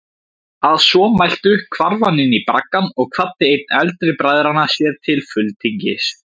Að svo mæltu hvarf hann inní braggann og kvaddi einn eldri bræðranna sér til fulltingis.